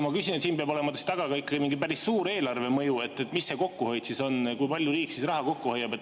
Ma küsin, kuna siin peab olema taga mingi päris suur eelarvemõju, et mis see kokkuhoid on, kui palju riik raha kokku hoiab.